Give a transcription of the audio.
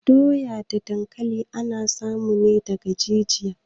Doya da dankali ana samu ne daga jijiya